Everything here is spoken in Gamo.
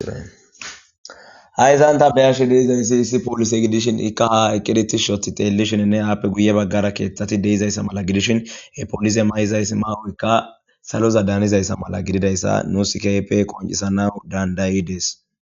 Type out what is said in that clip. Haysan tha be7ishe de7izayssi issi polise gidishin ikka haa eqqidi tishshi ooththidi xeellishininne appe guyye baggara keeththathi de7izaysa mala gidishin he polise ma7izaysi maa7oykka saloza daanizaysa mala nuusi keehipe qonccisanawu danddayi des.